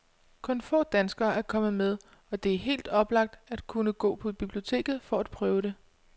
Kun få danskere er kommet med, og det er helt oplagt at kunne gå på biblioteket for at prøve det.